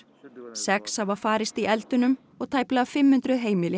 sex hafa farist í og tæplega fimm hundruð heimili